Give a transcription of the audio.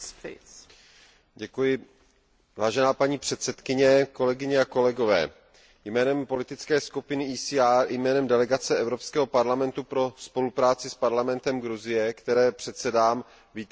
Vážená paní předsedající, kolegyně a kolegové, jménem politické skupiny ECR i jménem delegace Evropského parlamentu pro spolupráci s parlamentem Gruzie, které předsedám, vítám zprávu, kterou Komise předkládá.